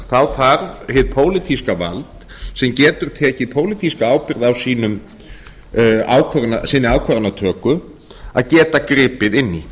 þá þarf hið pólitíska vald sem getur tekið pólitíska ábyrgð á sinni ákvarðanatöku að geta gripið inn í